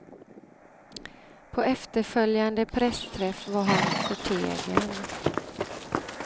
På efterföljande pressträff var han förtegen.